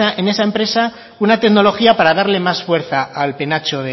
en esa empresa una tecnología para darle más fuerza al penacho